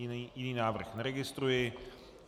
Jiný návrh neregistruji.